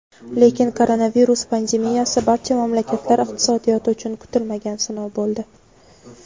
Lekin koronavirus pandemiyasi barcha mamlakatlar iqtisodiyoti uchun kutilmagan sinov bo‘ldi.